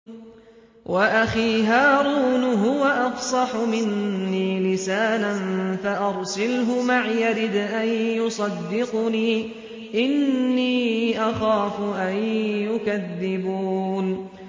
وَأَخِي هَارُونُ هُوَ أَفْصَحُ مِنِّي لِسَانًا فَأَرْسِلْهُ مَعِيَ رِدْءًا يُصَدِّقُنِي ۖ إِنِّي أَخَافُ أَن يُكَذِّبُونِ